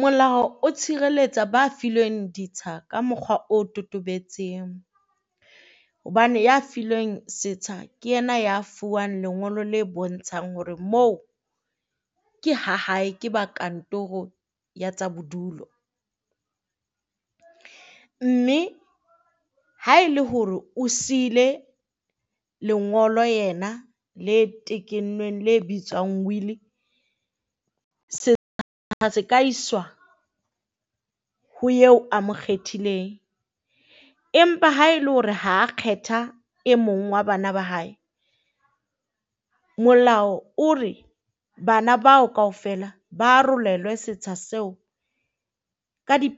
Molao o tshireletsa ba filweng ditsha ka mokgwa o totobetseng. Hobane ya filweng setsha ke ena ya fuwang lengolo le bontshang hore moo ke ha hae ke ba kantoro ya tsa bodulo. Mme ha e le hore o siile lengolo ena le tekennweng le bitswang Will-i, se ka iswa ho eo a mo kgethileng, empa ha ele hore ha kgetha e mong wa bana ba hae. Molao o re bana bao kaofela ba arolelwe setsha seo ka di